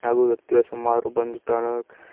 ಹಾಗು ವ್ಯಕ್ತಿಗಳ ಸುಮಾರು ಬಂದು ತಾಣಾಕ--